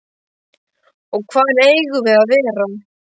Og hvar eigum við að vera?